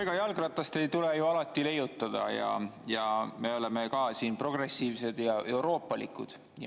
Ega jalgratast ei tule ju alati leiutada ning me oleme ka siin progressiivsed ja euroopalikud.